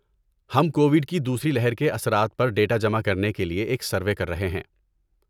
ہم کوویڈ کی دوسری لہر کے اثرات پر ڈیٹا جمع کرنے کے لیے ایک سروے کر رہے ہیں۔